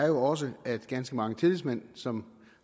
jo også at ganske mange tillidsmænd som